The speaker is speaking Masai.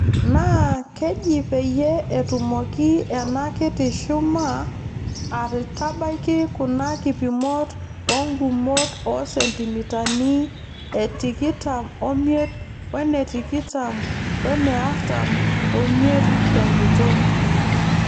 Naa keji peeyiee etumoki ena kiti shuma atabaiki kuna kipimot oongumot oosentimitani etikitam omiet wene tikitam wene artam omiet tenguton.